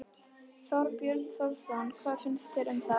Þorbjörn Þórðarson: Hvað finnst þér um það?